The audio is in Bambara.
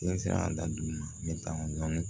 Ne bɛ se ka daduga dɔɔni